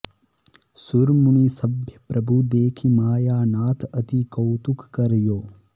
सुर मुनि सभय प्रभु देखि मायानाथ अति कौतुक कर् यो